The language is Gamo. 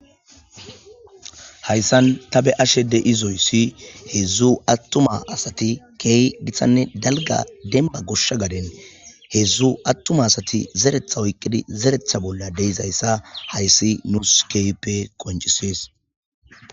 hayissani ta beyashe dizayisi hedzu atuma assati kehi gittanne daligga demibba goshsha gadeni hedzu atuma assati zereta oyikidi zeretha bolla dizayissa hayissi nussi kehippe qoncissesi